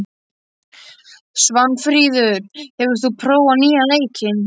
Svanfríður, hefur þú prófað nýja leikinn?